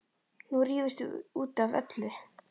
Nú rífumst við út af öllu.